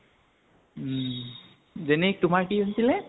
উম । generic তোমাৰ কি আছিলে?